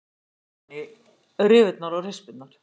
Grunnurinn fer ofan í rifurnar og rispurnar.